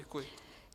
Děkuji.